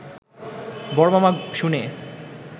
বড় মামা শুনে